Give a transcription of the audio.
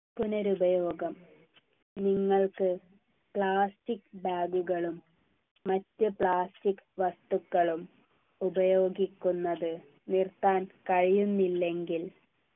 പുനരുപയോഗം നിങ്ങൾക്ക് plastic bag കളും മറ്റ് plastic വസ്തുക്കളും ഉപയോഗിക്കുന്നത് നിർത്താൻ കഴിയുന്നില്ലെങ്കിൽ